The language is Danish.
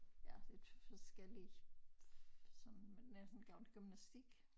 Ja lidt forskellige sådan men jeg har sådan gået til gymnastik